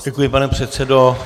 Děkuji, pane předsedo.